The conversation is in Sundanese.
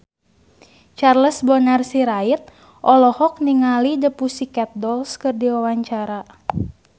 Charles Bonar Sirait olohok ningali The Pussycat Dolls keur diwawancara